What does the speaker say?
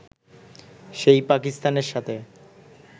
সেই পাকিস্তানের সাথে